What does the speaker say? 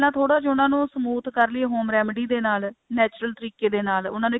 ਪਹਿਲਾਂ ਥੋੜਾ ਜਾ ਉਹਨਾ ਨੂੰ smooth ਕਰਲੀਏ home remedy ਦੇ ਨਾਲ natural ਤਰੀਕੇ ਦੇ ਨਾਲ ਉਹਨਾ ਨੂੰ